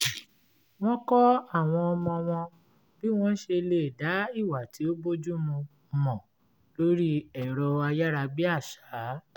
wọ́n kọ́ àwọn ọmọ wọn bí wọ́n ṣe lè dá ìwà tí ò bójúmu mọ̀ lórí ẹ̀rọ ayárabíàṣá